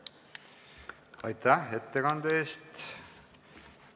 Aitäh ettekande eest!